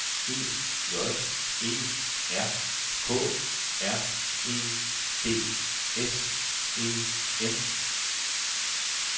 E J E R K R E D S E N